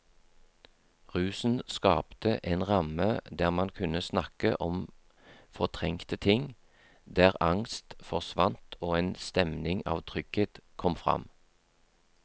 Rusen skapte en ramme der man kunne snakke om fortrengte ting, der angst forsvant og en stemning av trygghet kom fram.